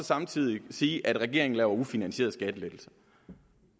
side sige at regeringen laver ufinansierede skattelettelser